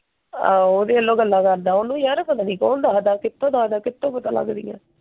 ਆਹੋ ਉਹਦੇ ਵਲੋਂ ਗੱਲਾਂ ਕਰਦਾ। ਉਹਨੂੰ ਯਾਰ ਪਤਾ ਨਹੀਂ ਕੌਣ ਦਸਦਾ। ਕਿਥੋਂ ਦਸਦਾ, ਕਿਥੋਂ ਪਤਾ ਲਗਦੀਆਂ?